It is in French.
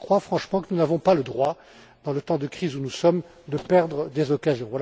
Je crois franchement que nous n'avons pas le droit, dans le temps de crise où nous sommes, de perdre des occasions.